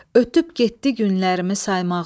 Ötüb getdi günlərimi saymağım.